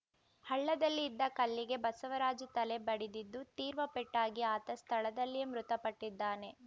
ಹಳ್ಳದಲ್ಲಿ ಇದ್ದ ಕಲ್ಲಿಗೆ ಬಸವರಾಜು ತಲೆ ಬಡಿದಿದ್ದು ತೀರ್ವ ಪೆಟ್ಟಾಗಿ ಆತ ಸ್ಥಳದಲ್ಲಿಯೇ ಮೃತಪಟ್ಟಿದ್ದಾನೆ